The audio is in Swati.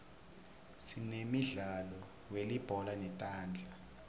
sinemidlalo welibhola letandla